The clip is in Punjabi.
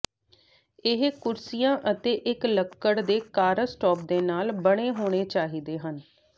ਇਹ ਕੁਰਸੀਆਂ ਅਤੇ ਇੱਕ ਲੱਕੜ ਦੇ ਕਾੱਰਸਟੌਪ ਦੇ ਨਾਲ ਬਣੇ ਹੋਣੇ ਚਾਹੀਦੇ ਹਨ